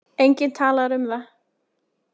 Enginn talar um það.